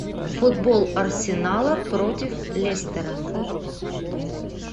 футбол арсенала против лестера